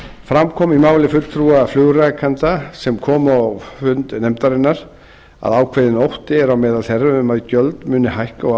fram kom í máli fulltrúa flugrekenda sem komu á fund nefndarinnar að ákveðinn ótti er á meðal þeirra um að gjöld muni hækka og